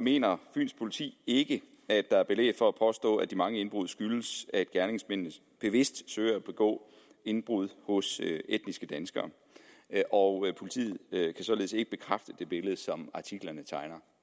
mener fyns politi ikke at der er belæg for at påstå at de mange indbrud skyldes at gerningsmændene bevidst søger at begå indbrud hos etniske danskere og politiet kan således ikke bekræfte det billede som artiklerne tegner